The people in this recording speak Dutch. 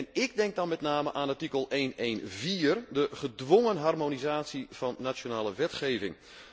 En ik denk dan met name aan artikel 114 de gedwongen harmonisatie van nationale wetgeving.